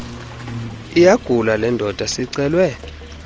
iyagula lendoda sicelwe